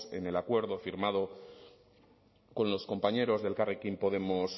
en el acuerdo firmado con los compañeros de elkarrekin podemos